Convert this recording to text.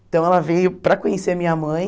Então ela veio para conhecer a minha mãe...